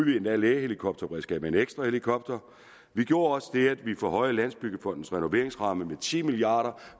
endda lægehelikopterberedskabet med en ekstra helikopter vi gjorde også det at vi forhøjede landsbyggefondens renoveringsramme med ti milliard